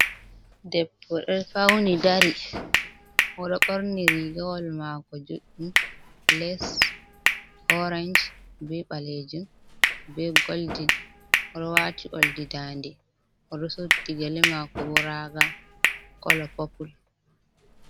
Debo ɗo fauni dari oɗo ɓorni rigawal mako juɗɗum, les orange be balejum be goldin, oɗo wati oldi dande, oɗo suddi gele mako bo raga kolo popul.